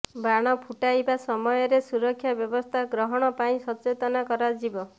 ବାଣ ଫୁଟାଇବା ସମୟରେ ସୁରକ୍ଷା ବ୍ୟବସ୍ଥା ଗ୍ରହଣ ପାଇଁ ସଚେତନା କରାଯିବ